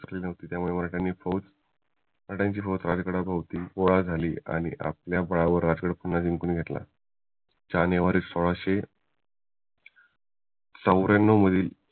मिळाली त्यामुळे मराठ्यांनी फौज राज्गादाभौती गोळा झाली आणि आपल्या बळावर राजगड पुन्हा जिंकून घेतला जानेवारी सोळाशे चौर्यान्नावू मधील